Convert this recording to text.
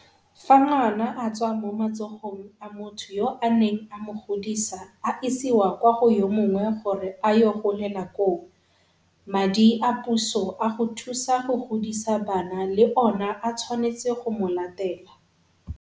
Fa ngwana a tswa mo matsogong a motho yo a neng a mo godisa a isiwa kwa go yo mongwe gore a yo golela koo, madi a puso a go thusa go godisa bana le ona a tshwanetse go mo latela.